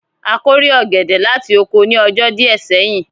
A kórè ọ̀gẹ̀dẹ̀ láti oko ní ọjọ́ díẹ̀ sẹ́yìn